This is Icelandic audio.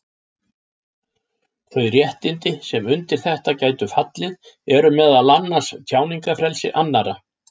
Þau réttindi sem undir þetta gætu fallið eru meðal annars tjáningarfrelsi annarra.